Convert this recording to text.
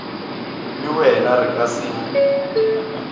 le wena re ka se